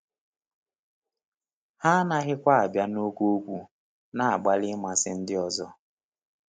Ha anaghịkwa “abịa na oke okwu,” na-agbalị ịmasị ndị ọzọ.